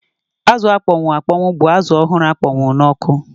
Azụ akpọnwụ akpọnwụ bụ azụ ọhụrụ akpọnwụọ n'ọkụ